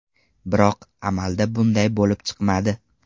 Biroq amalda bunday bo‘lib chiqmadi.